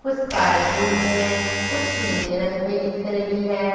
कुछ sky blue में है कुछ नीले रंग में दिख रही है।